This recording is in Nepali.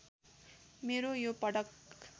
मेरो यो पदक